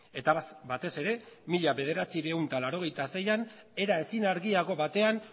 eta batez ere mila bederatziehun eta laurogeita seian era ezin argiago batean